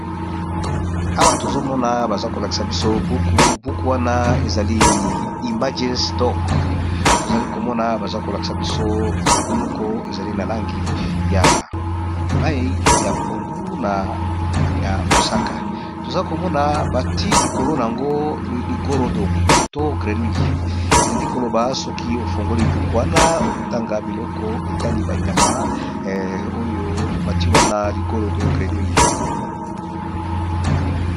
awa tozomona baza kolakisa biso buku buku wana ezali image stock tozali komona baza kolakisa biso buku moko ezali na langi ya mai ya pondu na ya mosaka tozali komona bati likolo na yango ligorodo to grenui elingi koloba soki efongoli buku wana okotanga biloko etali banyama oyo bati wana ligorodo grenwi